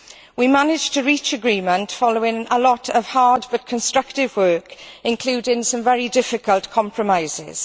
We managed to reach agreement following a lot of hard but constructive work, including some very difficult compromises.